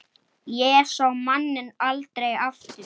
Emil virti hann fyrir sér.